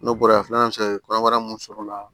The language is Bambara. N'o bɔra ye filanan bɛ se ka kɛ kɔnɔbara mun sɔrɔ o la